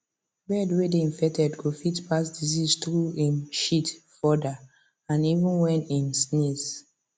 bird way they infected go fit pass disease through em shit further and even when em sneeze